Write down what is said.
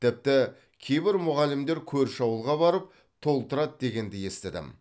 тіпті кейбір мұғалімдер көрші ауылға барып толтырады дегенді естідім